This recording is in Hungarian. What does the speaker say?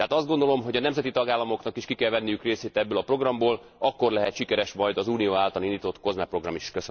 Tehát azt gondolom, hogy a nemzeti tagállamoknak is ki kell venniük részüket ebből a programból, akkor lehet sikeres majd az Unió által indított COSME program is.